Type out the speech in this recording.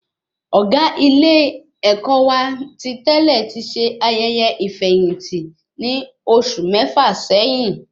Ọgá ilé-èkó wà ti tẹlẹ ti ṣe ayẹyẹ ifeyinti ní oṣù mẹfa sẹyìn